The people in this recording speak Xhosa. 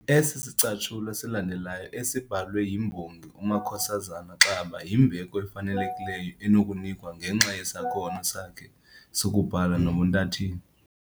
Esi sicatshulwa silandelayo esibhalwe yimbongi uMakhosazana Xaba yimbeko efanelekileyo enokunikwa ngenxa yesakhono sakhe sokubhala nobuntatheli